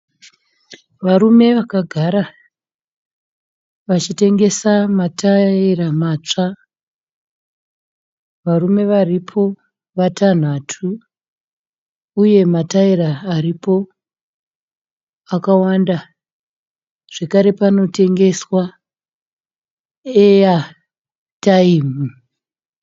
Varume vakagara vachitengesa mataira matsva. Varume varipo vatanhatu uye mataira aripo akawanda. Zvekare panotengeswa eyataimu.